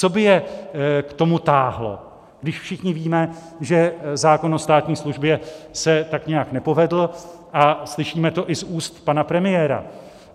Co by je k tomu táhlo, když všichni víme, že zákon o státní službě se tak nějak nepovedl, a slyšíme to i z úst pana premiéra?